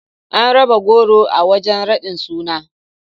An raba goro a wajen raɗin sunan.